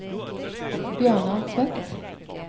Bjørnar Tvedt